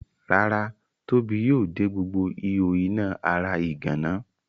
Rárá Tóbi yóò de gbogbo ihò iná ara ìgànná.